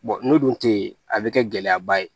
n'o dun tɛ yen a bɛ kɛ gɛlɛyaba ye